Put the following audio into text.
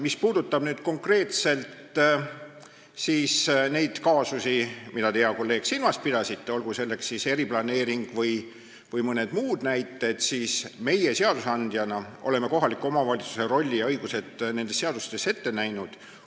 Mis puudutab konkreetselt neid kaasusi, mida te, hea kolleeg, silmas pidasite, olgu selleks eriplaneering või mõned muud ettevõtmised, siis meie seadusandjana oleme kohaliku omavalitsuse rolli ja õigused seadustes ette näinud.